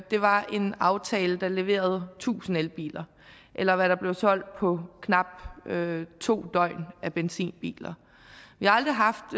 var en aftale der leverede tusind elbiler eller hvad der blev solgt på knap to døgn af benzinbiler vi har aldrig haft